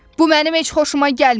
Bu mənim heç xoşuma gəlmir.